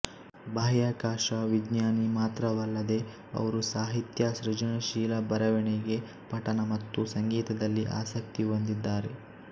ಬಾಹ್ಯಾಕಾಶ ವಿಜ್ಞಾನಿ ಮಾತ್ರವಲ್ಲದೆ ಅವರು ಸಾಹಿತ್ಯ ಸೃಜನಶೀಲ ಬರೆವಣಿಗೆ ಪಠಣ ಮತ್ತು ಸಂಗೀತದಲ್ಲಿ ಆಸಕ್ತಿ ಹೊಂದಿದ್ದಾರೆ